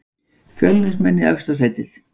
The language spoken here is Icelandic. Fjölnismenn í efsta sætið